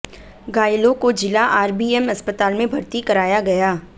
घायलों को जिला आरबीएम अस्पताल में भर्ती कराया गया